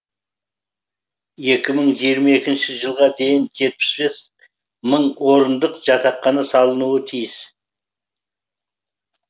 екі мың жиырма екінші жылға дейін жетпіс бес мың орындық жатақхана салынуы тиіс